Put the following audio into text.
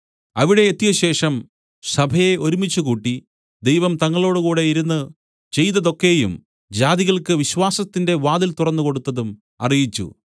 അവിടെ എത്തിയശേഷം സഭയെ ഒരുമിച്ചുകൂട്ടി ദൈവം തങ്ങളോടുകൂടെ ഇരുന്ന് ചെയ്തതൊക്കെയും ജാതികൾക്ക് വിശ്വാസത്തിന്റെ വാതിൽ തുറന്നുകൊടുത്തതും അറിയിച്ചു